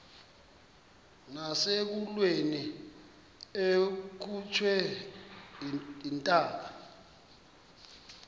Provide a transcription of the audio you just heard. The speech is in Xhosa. nasekulweni akhutshwe intaka